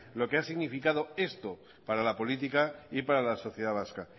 lo que ha significado esto para la política y para la sociedad vasca